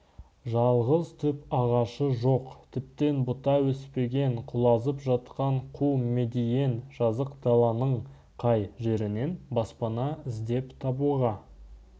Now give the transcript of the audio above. жалғыз түп ағашы жоқ тіптен бұта өспеген құлазып жатқан қу медиен жазық даланың қай жерінен баспана іздеп табуға